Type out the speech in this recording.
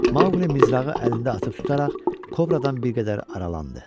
Maqli mizrağı əlində atıb tutaraq kobradan bir qədər aralandı.